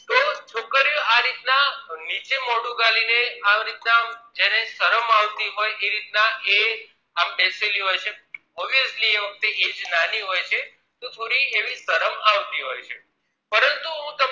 આ રીત ના નીચે મોઢું ગાલી ને આ રીત ના જે ને શરમ આવતી હોય એ રીત ના એ આમ બેસેલી હોય છે officialy એ વખતે age નાની હોય છે તો થોડી શરમ આવતી હોય છે પરંતુ હું